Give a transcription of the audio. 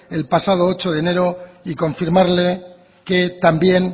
el pasado ocho de enero y confirmarle que también